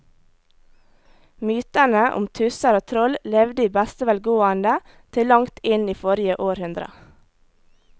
Mytene om tusser og troll levde i beste velgående til langt inn i forrige århundre.